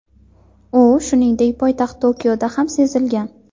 U, shuningdek, poytaxt Tokioda ham sezilgan.